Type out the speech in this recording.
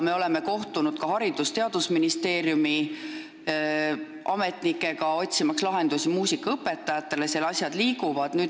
Me oleme kohtunud ka Haridus- ja Teadusministeeriumi ametnikega, otsimaks lahendusi muusikaõpetajatele, seal asjad liiguvad.